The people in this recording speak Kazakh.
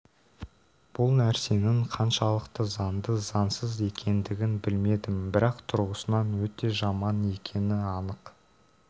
бұл нәрсенің қаншалықты заңды заңсыз екендігін білмедім бірақ тұрғысынан өте жаман екені анық